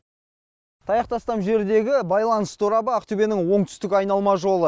таяқ тастам жердегі байланыс торабы ақтөбенің оңтүстік айналма жолы